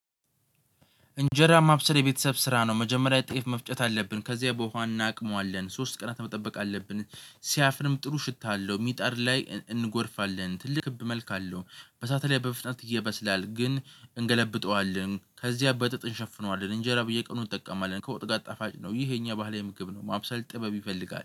እንጀራ ማብሰል የቤተሰብ ስራ ነው፤ መጀመሪያ ጥቂት መፍጨት አለብን። ከዚያ በውሃ እናቅመዋለን ሶስት ቀናት መጠበቅ አለብን ሲያፍርም ጥሩ ሽታ አለው። ሚጣር ላይ እንጎርፋለን። ትልቅ ክብ መልክ አለው። በሳት ላይ በመፍጥነት ይበስላል ግን እንገለብጠዋለን። ከዚያ በጠጥን እንሸፍነዋለን። እንጀራ ብዬ ቀኑን እጠቀማለሁ ከወጥ ጋር ጠፋጭ ነው ይሄ የኛ ባህሌ ምግብ ነው ማብሰል ጥበብ ይፈልጋል